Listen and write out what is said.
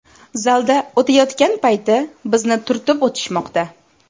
Zalda o‘tayotgan payti bizni turtib o‘tishmoqda.